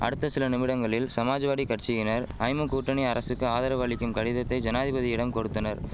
அடுத்த சில நிமிடங்களில் சமாஜ்வாடி கட்சியினர் ஐமு கூட்டணி அரசுக்கு ஆதரவு அளிக்கும் கடிதத்தை ஜனாதிபதியிடம் கொடுத்தனர்